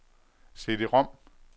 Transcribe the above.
CD-rom